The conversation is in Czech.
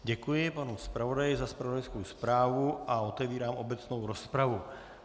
Děkuji panu zpravodaji za zpravodajskou zprávu a otevírám obecnou rozpravu.